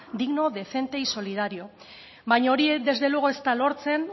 digno decente y solidario baina hori desde luego ez da lortzen